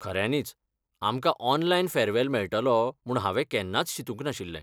खऱ्यांनीच, आमकां online farewell मेळटलो म्हूण हांवें केन्नाच चिंतूंक नाशिल्लें .